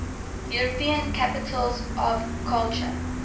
european capitals of culture